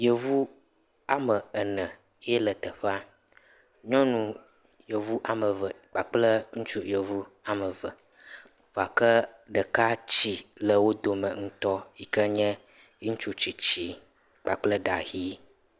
Yevu ame ene yee le teƒea. Nyɔnu Yevu ame eve kple ŋutsu Yevu ame eve. Gake ɖeka tsi le wo dome ŋutɔ yi ke n ye ŋutsu tsitsi kpakple ɖa ʋi.